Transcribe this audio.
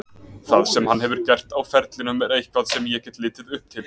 Það sem hann hefur gert á ferlinum er eitthvað sem ég get litið upp til.